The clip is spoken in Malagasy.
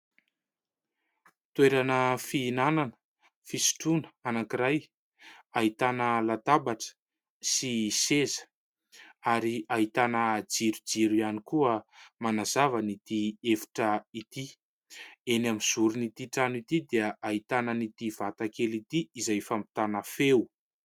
Toerana fihinanana fisotroana anankiray : ahitana latabatra sy seza ary ahitana jirojiro ihany koa manazava an'ity efitra ity. Eny amin'ny zoron' ity trano ity dia ahitana an'ity vata kely ity izay fampitana feo.